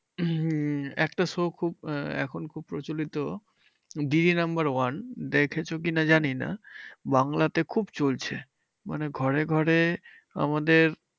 উম একটা show খুব এখন খুব প্রচলিত দিদি নাম্বার ওয়ান। দেখেছো কি না জানিনা, বাংলাতে খুব চলছে। মানে ঘরে ঘরে আমাদের